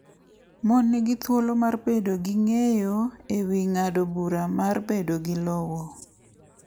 Mon nigi thuolo mar bedo gi ng’eyo e wi ng’ado bura mar bedo gi lowo.